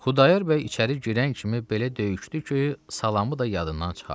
Xudayar bəy içəri girən kimi belə döyüşdü ki, salamı da yadından çıxardı.